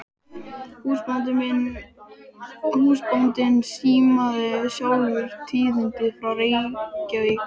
Húsbóndinn símaði sjálfur tíðindin frá Reykjavík.